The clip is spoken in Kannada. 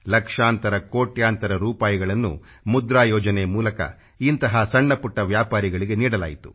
ಲಕ್ಷಾಂತರ ಕೋಟ್ಯಾಂತರ ರೂಪಾಯಿಗಳನ್ನು ಮುದ್ರಾ ಯೋಜನೆ ಮೂಲಕ ಇಂತಹ ಸಣ್ಣಪುಟ್ಟ ವ್ಯಾಪಾರಿಗಳಿಗೆ ನೀಡಲಾಯಿತು